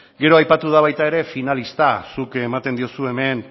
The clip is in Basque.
gero aipatu da baita ere finalista zuk ematen diozu hemen